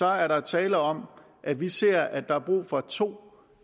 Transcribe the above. er der er tale om at vi ser at der er brug for to